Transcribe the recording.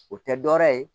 O tɛ dɔ wɛrɛ ye